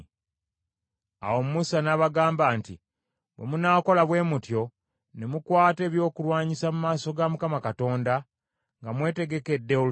Awo Musa n’abagamba nti, “Bwe munaakola bwe mutyo, ne mukwata ebyokulwanyisa mu maaso ga Mukama Katonda nga mwetegekedde olutalo,